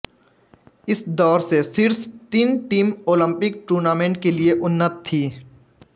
इस दौर से शीर्ष तीन टीम ओलंपिक टूर्नामेंट के लिए उन्नत थी